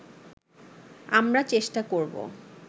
আমরা চেষ্টা করব